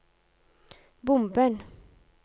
bomben